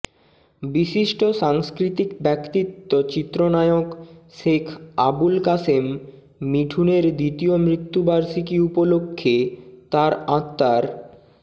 বিশিষ্ট সাংস্কৃতিক ব্যক্তিত্ব চিত্রনায়ক শেখ আবুল কাশেম মিঠুনের দ্বিতীয় মৃত্যুবার্ষিকী উপলক্ষে তার আত্মার